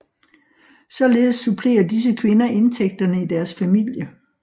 Således supplerer disse kvinder indtægterne i deres familie